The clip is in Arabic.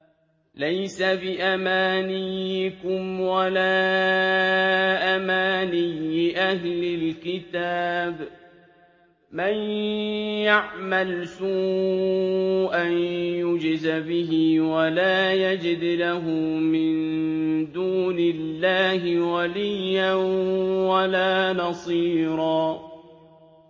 لَّيْسَ بِأَمَانِيِّكُمْ وَلَا أَمَانِيِّ أَهْلِ الْكِتَابِ ۗ مَن يَعْمَلْ سُوءًا يُجْزَ بِهِ وَلَا يَجِدْ لَهُ مِن دُونِ اللَّهِ وَلِيًّا وَلَا نَصِيرًا